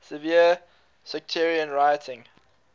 severe sectarian rioting